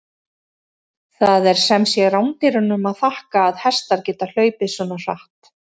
Það er sem sé rándýrunum að þakka að hestar geta hlaupið svona hratt!